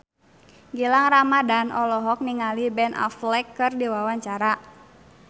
Gilang Ramadan olohok ningali Ben Affleck keur diwawancara